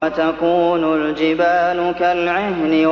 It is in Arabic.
وَتَكُونُ الْجِبَالُ كَالْعِهْنِ